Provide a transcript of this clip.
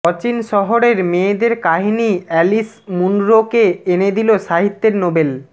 অচিন শহরের মেয়েদের কাহিনী অ্যালিস মুনরোকে এনেদিল সাহিত্যের নোবেল